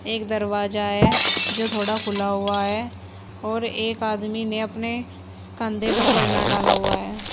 एक दरवाजा है जो थोड़ा खुला हुआ है और एक आदमी ने अपने कंधे पर परना डाला हुआ है।